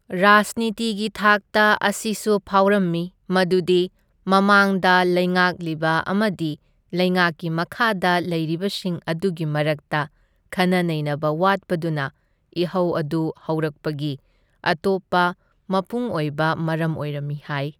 ꯔꯥꯖꯅꯤꯇꯤꯒꯤ ꯊꯥꯛꯇ ꯑꯁꯤꯁꯨ ꯐꯥꯎꯔꯝꯃꯤ, ꯃꯗꯨꯗꯤ ꯃꯃꯥꯡꯗ ꯂꯩꯉꯥꯛꯂꯤꯕ ꯑꯃꯗꯤ ꯂꯩꯉꯥꯛꯀꯤ ꯃꯈꯥꯗ ꯂꯩꯔꯤꯕꯁꯤꯡ ꯑꯗꯨꯒꯤ ꯃꯔꯛꯇ ꯈꯟꯅ ꯅꯩꯅꯕ ꯋꯥꯠꯄꯗꯨꯅ ꯏꯍꯧ ꯑꯗꯨ ꯍꯧꯔꯛꯄꯒꯤ ꯑꯇꯣꯞꯄ ꯃꯄꯨꯡ ꯑꯣꯏꯕ ꯃꯔꯝ ꯑꯣꯏꯔꯝꯃꯤ ꯍꯥꯢ꯫